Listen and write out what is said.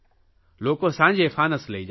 લોકો સાંજે ફાનસ લઇ જાય છે